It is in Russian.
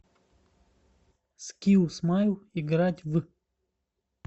скилл смайл играть в